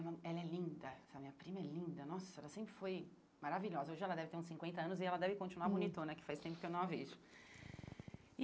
Ela é linda, essa minha prima é linda, nossa, ela sempre foi maravilhosa, hoje ela deve ter uns cinquenta anos e ela deve continuar hum bonitona, que faz tempo que eu não a vejo.